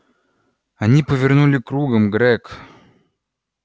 они повернули кругом грег